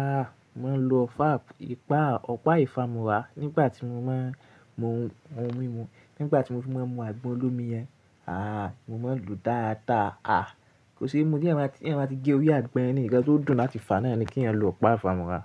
Aah, mo n lo ofa, ìpa, ọ̀pá ìfámúrà nígbà tí mo máa n mu ohun mímu, nígbà tí mo fi máa n mu àgbọn olómi yẹn. Aah, mo ma ń lo dáadáa. Aah, kò se mú tí ẹeyan ba ti gé orí àgbọn yẹn ni, ǹkan tó dùn láti fà náà ni kí èèyàn lo ọ̀pá ìfámúrà.